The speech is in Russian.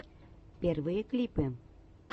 первые клипы